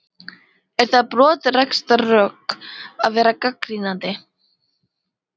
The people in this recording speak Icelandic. Er það brottrekstrarsök að vera gagnrýninn?